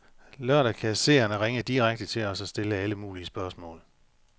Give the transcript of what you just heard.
Lørdag kan seerne ringe direkte til os og stille alle mulige spørgsmål.